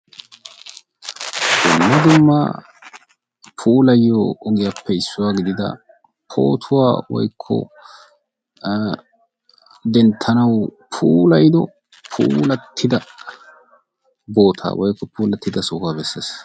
Dumma dumma puulayiyo ogiyappe issuwa gidida pootuwa woykko denttanawu puulayido puulattida bootaa woykko puulattida sohuwa besses.